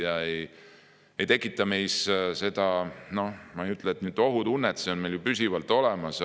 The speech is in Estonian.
Ma ei ütle, et see ei tekita ohutunnet, see on meil püsivalt olemas.